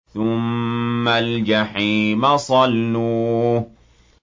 ثُمَّ الْجَحِيمَ صَلُّوهُ